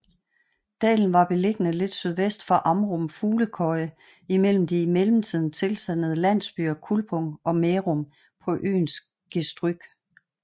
Dalen var beliggende lidt sydvest for Amrum Fuglekøje imellem de i mellemtiden tilsandede landsbyer Kulpum og Mærum på øens gestryg